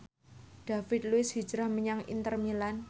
David Luiz hijrah menyang Inter Milan